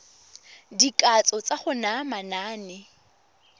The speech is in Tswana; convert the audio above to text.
dikatso tsa go naya manane